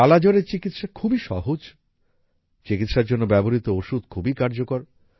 কালা জ্বরের চিকিৎসা খুবই সহজ চিকিৎসার জন্য ব্যবহৃত ওষুধ খুবই কার্যকর